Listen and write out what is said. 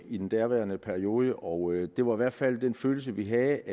i den daværende periode og det var i hvert fald den følelse vi havde